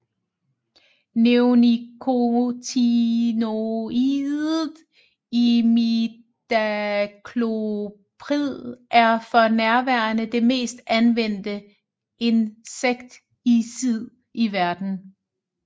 Neonikotinoidet imidacloprid er for nærværende det mest anvendte insekticid i verden